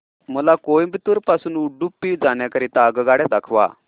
मला कोइंबतूर पासून उडुपी जाण्या करीता आगगाड्या दाखवा